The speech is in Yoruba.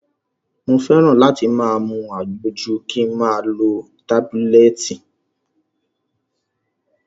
Mo fẹ́ràn láti mu àgbo ju kin ma lo tábílẹ̀tì.